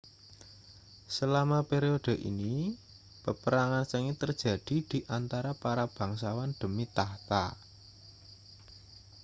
selama periode ini peperangan sengit terjadi di antara para bangsawan demi takhta